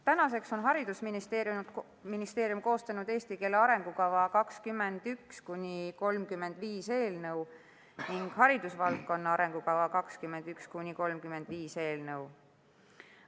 Tänaseks on haridusministeerium koostanud "Eesti keele arengukava 2021–2035" eelnõu ning "Haridusvaldkonna arengukava 2021–2035" eelnõu.